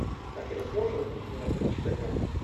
афина сможешь разбудить меня в три часа дня